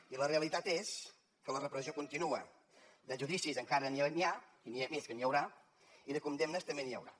i la realitat és que la repressió continua de judicis encara n’hi ha i més que n’hi haurà i de condemnes també n’hi haurà